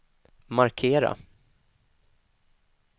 markera